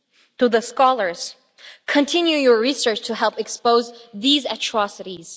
To the scholars continue your research to help expose these atrocities.